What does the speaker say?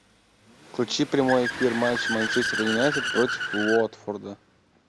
включи прямой эфир матча манчестер юнайтед против уотфорда